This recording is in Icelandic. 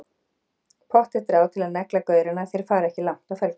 Pottþétt ráð til að negla gaurana, þeir fara ekki langt á felgunni!